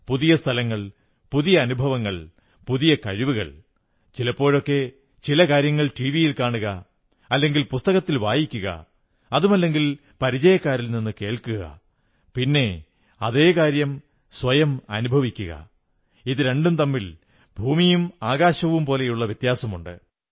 പുതിയ സ്ഥലങ്ങൾ പുതിയ അനുഭവങ്ങൾ പുതിയ കഴിവുകൾ ചിലപ്പോഴൊക്കെ ചില കാര്യങ്ങൾ ടിവിയിൽ കാണുക അല്ലെങ്കിൽ പുസ്തകത്തിൽ വായിക്കുക അതുമല്ലെങ്കിൽ പരിചയക്കാരിൽ നിന്നു കേൾക്കുക പിന്നെ അതേ കാര്യം സ്വയം അനുഭവിക്കുക ഇതു രണ്ടും തമ്മിൽ ഭൂമിയും ആകാശവും പോലുള്ള വ്യത്യാസമുണ്ട്